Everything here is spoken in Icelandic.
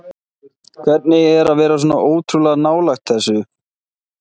Hvernig er að vera svona ótrúlega nálægt þessu?